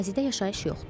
Ərazidə yaşayış yoxdur.